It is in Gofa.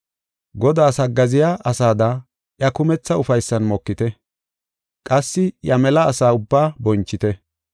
Godaas haggaaziya asada iya kumetha ufaysan mokite. Qassi iya mela asa ubbaa bonchite.